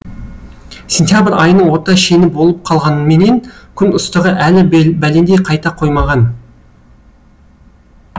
сентябрь айының орта шені болып қалғанменен күн ыстығы әлі бәлендей қайта қоймаған